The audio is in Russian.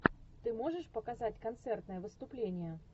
ты можешь показать концертное выступление